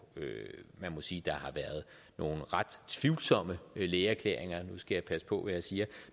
man må sige at der har været nogle ret tvivlsomme lægeerklæringer nu skal jeg passe på hvad jeg siger